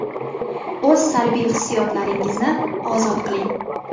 O‘z salbiy hissiyotlaringizni ozod qiling.